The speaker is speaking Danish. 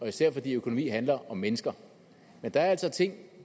især fordi økonomi handler om mennesker men der er altså ting